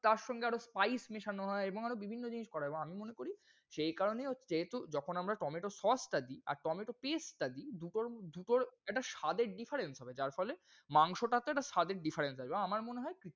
তারসঙ্গে আরও spice মেশানো হয় এবং আরও বিভিন্ন জিনিস করে। এবং আমি মনে করি, সেই কারণে হচ্ছে যেহেতু যখন আমরা tomato sauce টা দিই আর tomato paste টা দিই দুটোর~দুটোর একটা স্বাদ এর difference হবে। যার ফলে মাংসটা তে স্বাদের difference আসবে আমার মনে হয়,